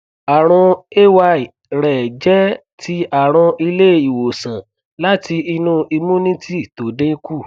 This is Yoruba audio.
àrùn ay rẹ jẹ ti àrùn ilé ìwòsàn láti inú immunity tó dínkù